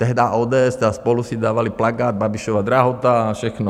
Tehdy ODS a SPOLU si dávali plakát Babišova drahota a všechno.